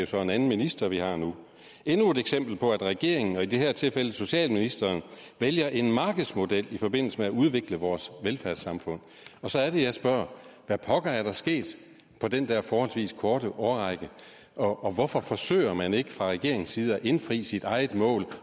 så en anden minister vi har nu er endnu et eksempel på at regeringen og i det her tilfælde socialministeren vælger en markedsmodel i forbindelse med at udvikle vores velfærdssamfund så er det jeg spørger hvad pokker er der sket på den der forholdsvis korte årrække og hvorfor forsøger man ikke fra regeringens side at indfri sit eget mål